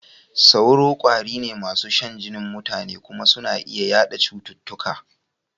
Sauro ƙwari ne masu shan jinin mutane kuma suna iya yaɗa cututtuka.